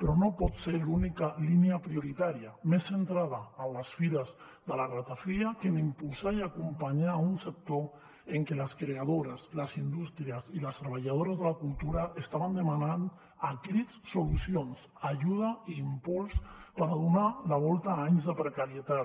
però no pot ser l’única línia prioritària més centrada a les fires de la ratafia que en impulsar i acompanyar un sector en què les creadores les indústries i les treballadores de la cultura estaven demanant a crits solucions ajuda i impuls per a donar la volta a anys de precarietat